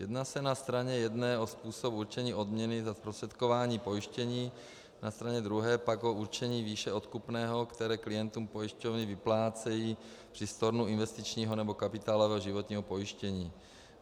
Jedná se na straně jedné o způsob určení odměny za zprostředkování pojištění, na straně druhé pak o určení výše odkupného, které klientům pojišťovny vyplácejí při stornu investičního nebo kapitálového životního pojištění.